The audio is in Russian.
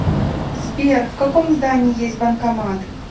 сбер в каком здании есть банкомат